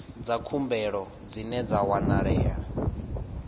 dza khumbelo dzine dza wanalea